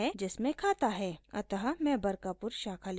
अतः मैं बरकापुर शाखा लिखूँगी